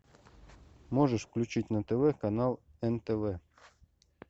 можешь включить на тв канал нтв